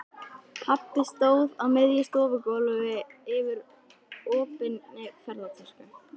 Pabbi stóð á miðju stofugólfi yfir opinni ferðatösku.